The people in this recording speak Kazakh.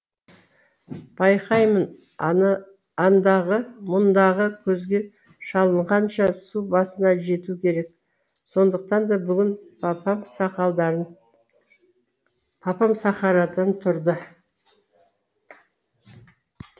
байқаймын андағы мұндағы көзге шалынғанша су басына жету керек сондықтан да бүгін папам сақарадан тұрды